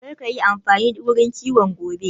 Kar ka yi amfani da wurin iwon gobe!